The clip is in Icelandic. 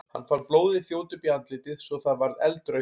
Hann fann blóðið þjóta upp í andlitið svo að það varð eldrautt.